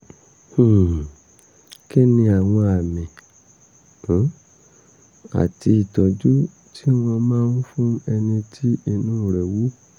um kí ni àwọn àmì um àti ìtọ́jú tí wọ́n máa ń fún ẹni tí inú rẹ̀ wú?